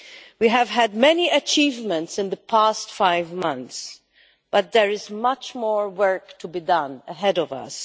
We have had many achievements in the past five months, but there is much more work to be done ahead of us.